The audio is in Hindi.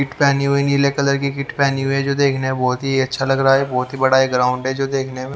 किट पहनी हुई नीले कलर की किट पहनी हुई है जो देखने में बहुत ही अच्छा लग रहा है बहुत ही बड़ा ग्राउंड है जो देखने में --